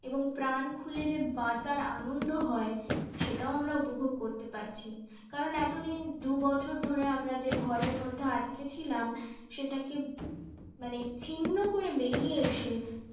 এবং প্রাণ খুলে যে বাঁচার আনন্দ হয় সেটাও আমরা উপভোগ করতে পারছি। কারণ এতদিন দুবছর ধরে আমরা যে ঘরের মধ্যে আটকে ছিলাম সেটাকে মানে ক্ষিন্ন করে বেরিয়ে এসে